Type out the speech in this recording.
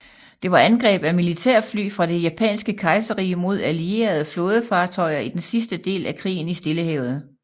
Det var angreb af militærfly fra det japanske kejserrige mod allierede flådefartøjer i den sidste del af krigen i Stillehavet